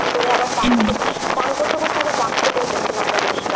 ডাব খেতে চান করতে করতে আবার ডাব খেতে উঠেছিলাম জানিসনা।